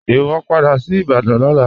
Iwọ n padà sí Ìbàdàn lọ́lá.